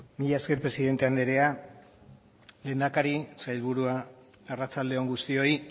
mila esker presidente anderea lehendakari sailburuak arratsalde on guztioi